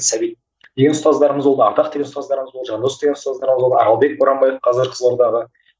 сәбит деген ұстаздарымыз болды ардақ деген ұстаздарымыз болды жандос деген ұстаздарымыз болды аралбек боранбаев қазір қызылордаға